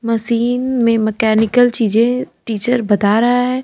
Machine में mechanical चीजें teacher बता रहा है।